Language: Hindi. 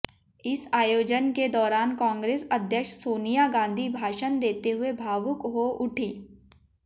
इस आय़ोजन के दौरान कांग्रेस अध्यक्ष सोनिया गांधी भाषण देते हुए भावुक हो उठी